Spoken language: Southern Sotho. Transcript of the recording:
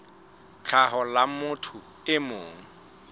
tlhaho la motho e mong